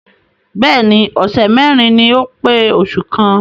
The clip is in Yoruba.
Bẹ́ẹ̀ni ọ̀sẹ̀ mẹ́rin ni ó pé oṣù kan.